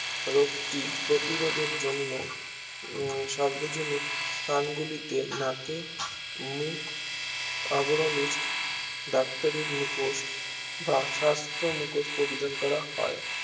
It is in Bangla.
রোগটি প্রধিরদের জন্য সার্বজনীক প্রাঙ্গুলিতে নাকে মুখ আবরণের ডাক্তারি মুখোশ বা স্বাস্থ্য মুখোশ পরিধান করা হয়